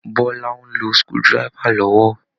Bọ́lá ń lo screw driver lọ́wọ́